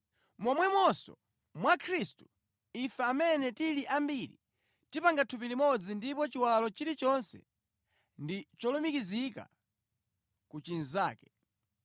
Momwemonso mwa Khristu ife amene tili ambiri tipanga thupi limodzi ndipo chiwalo chilichonse ndi cholumikizika ku chinzake.